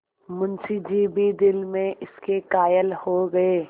मुंशी जी भी दिल में इसके कायल हो गये